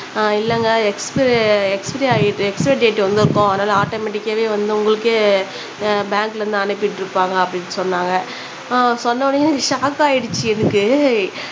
அஹ் இல்லங்க எக்ஸ்பி எக்ஸ்பிரி ஆயி எக்ஸ்பிரி டேட் வந்துருக்கும் அதுனால ஆட்டோமேட்டிக்காவே வந்து உங்களுக்கே அஹ் பேங்க்ல இருந்து அனுப்பி விட்டுருப்பாங்க அப்பிடினு சொன்னாங்க